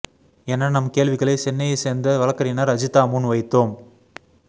என நம் கேள்விகளை சென்னையைச் சேர்ந்த வழக்கறிஞர் அஜிதா முன் வைத்தோம்